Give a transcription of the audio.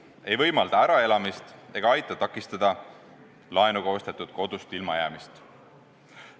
See ei võimalda äraelamist ega aita takistada laenuga ostetud kodust ilma jäämist.